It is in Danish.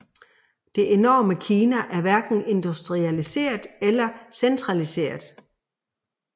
Det enorme Kina er hverken industrialiseret eller centraliseret